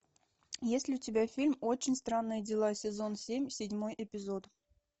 есть ли у тебя фильм очень странные дела сезон семь седьмой эпизод